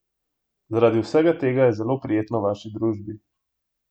Zaradi vsega tega je zelo prijetno v vaši družbi!